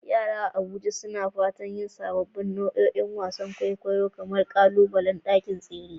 Yara a Abuja suna fatan yin sabbin nau'ikan wasan kwaikwayo kamar ƙalubalen ɗakin tsere.